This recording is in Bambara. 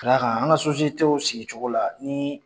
Ka d'a kan an sigicogo la ni .